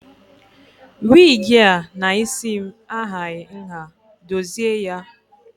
Wigi a na isi m ahaghị nha, dozie ya!